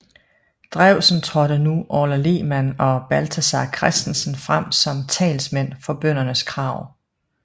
Drewsen trådte nu Orla Lehmann og Balthazar Christensen frem som talsmænd for bøndernes krav